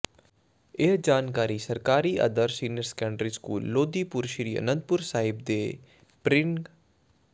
ਇਹ ਜਾਣਕਾਰੀ ਸਰਕਾਰੀ ਆਦਰਸ਼ senior secondary school Lodipur Sri Anandpur Sahib ਦੇ ਪਿ੍ਰੰ